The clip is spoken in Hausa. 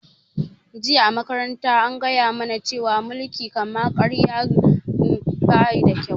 Jiya a makaranta an gaya mu na cewa mulkin kama karya baida kyau